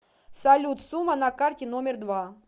салют сумма на карте номер два